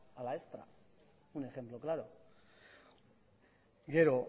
a la extra un ejemplo claro gero